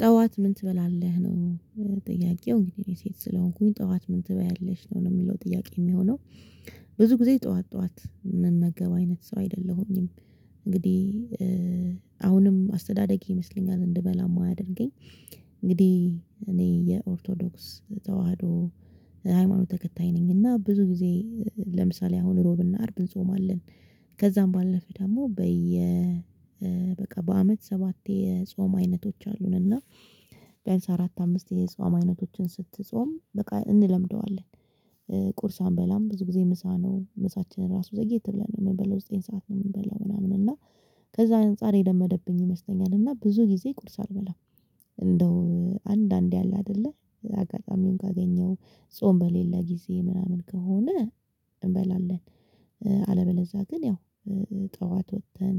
ጠዋት ምን ትበላለህ ነው? ጥያቄው እንግዲህ ሴት ስለሆንኩኝ ጠዋት ምን ትበያለሽ ነው የሚለው ጥያቄ የሚሆነው ብዙ ጊዜ ጠዋት ጠዋት ምመገብ አይነት ሰው አይደለሁኝም እንግዲህ አሁንም አስተዳደግ ይመስለኛል እንድበላ ማያደርገኝ እንግዲህ እኔ የኦርቶዶክስ ተዋህዶ ሃይማኖት ተከታይ ነኝ። እና ብዙ ጊዜ ለምሳሌ አሁን ሮብና አርብን እንጾማለን ከዛም ባለፈ ደግሞ በየ በቃ በአመት ሰባቴ የጾም አይነቶች አሉን። እና ቢያንስ አራት አምስት የጾም አይነቶችን ስትጾም በቃ እንለምደዋለን። ቁርስ አንበላም። ብዙ ጊዜ ምሳ ነው። ምሳችንን ራሱ ዘግየት ብለን ነው የምንበለው። ዘጠኝ ሰዓት ነው የምንበላው ምናምን እና ከዛ አንፃር የለመደብኝ ይመስልኛል። እና ብዙ ጊዜ ቁርስ አልበላም። እንደው አንድ አንድ ያለ አይደለ አጋጣሚውን ካገኘው ጾም በሌለ ጊዜ ምናምን ከሆነ እንበላለን። አለበለዛ ግን ያው ጠዋት ወጥተን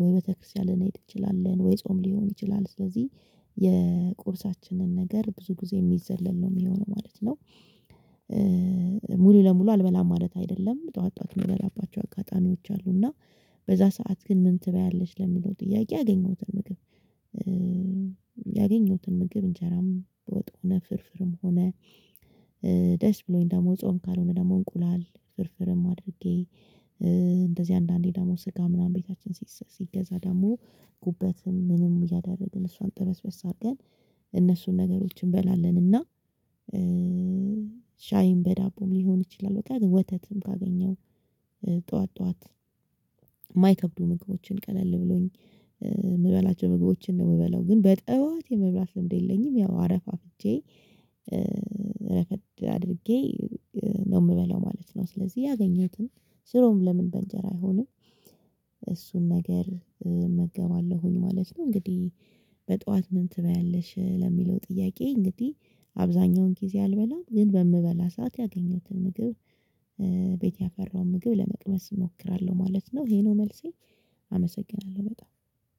ወይ ቤተክርስቲያን ልንሄድ እንችላለን ወይ ጾም ሊሆን ይችላል። ስለዚህ የቁርሳችንን ነገር ብዙ ጊዜ የሚዘለል ነው የሚሆነው ማለት ነው። ሙሉ ለሙሉ አልበላም ማለት አይደለም። ጠዋት ጠዋት ምበላባቸው አጋጣሚዎች አሉና በዛ ሰዓት ግን ምን ትበያለሽ ለሚለው ጥያቄ ያገኘሁትን ምግብ። ያገኘሁትን ምግብ እንጀራም በወጥ ሆነ ፍርፍርም ሆነ ደስ ብሎኝ ደግሞ ጾም ካልሆነ ደግሞ እንቁላል ፍርፍርም አድርጌ እንደዚህ አንዳንዴ ደግሞ ስጋ ምናምን ቤታችን ሲገዛ ደግሞ ጉበትም ምንም እያደረግን እሷን ጠበስበስ አድርገን እነሱን ነገሮችን እንበላለን። እና ሻይም በዳቦ ሊሆን ይችላል። ወተትም ካገኘው ጠዋት ጠዋት የማይከብዱ መግቦችን ቀለል ብሎኝ የምበላቸው ምግቦችን ነው የምበላው ግን በጠዋት የመብላት ልምድ የለኝም። ያው አረፋፍጄ ረፈድ አድርጌ ነው የምበላው ማለት ነው። ስለዚህ ያገኘሁትን ሽሮም ለምን በእንጀራ አይሆንም እሱን ነገር እመገባለሁኝ ማለት ነው። እንግዲህ በጠዋት ምን ትባያለሽ ለሚለው ጥያቄ እንግዲህ አብዛኛውን ጊዜ አልበላም። ግን በምበላ ሰዓት ያገኘሁትን ምግብ ቤት ያፈራውን ምግብ ለመቅመስ እሞክራለሁ ማለት ነው። ይሄ ነው መልሴ አመሰግናለሁ በጣም።